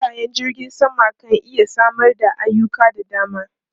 Filayen jirgin sama kan iya samar da ayuka da dama.